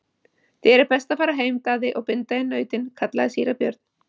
Þér er best að fara heim, Daði, og binda inn nautin, kallaði síra Björn.